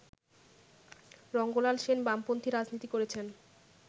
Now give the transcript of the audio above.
রঙ্গলাল সেন বামপন্থী রাজনীতি করেছেন